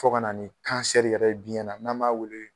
Fɔ kana ni yɛrɛ ye biyɛn na n'an b'a weele